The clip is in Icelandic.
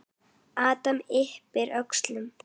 Adam yppir öxlum.